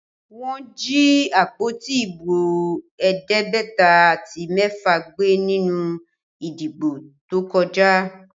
Wọ́n jí àpótí ibo ẹ̀ẹ́dẹ́gbẹ̀ta àti mẹ́fà gbé nínú ìdìbò tó kọjá